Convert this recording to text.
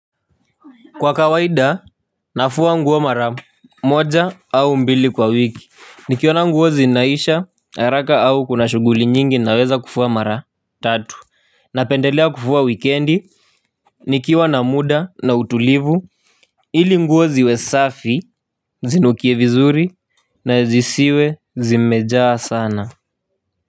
Kwa kawaida nafua nguo mara moja au mbili kwa wiki. Nikiona nguo zinaisha haraka au kuna shuguli nyingi naweza kufua mara tatu. Napendelea kufua wikendi nikiwa na muda na utulivu ili nguo ziwe safi zinukie vizuri na zisiwe zimejaa sana na.